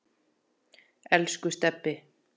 Elsku Stebbi.